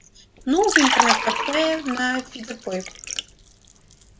ну в интернет-кафе на фидопойку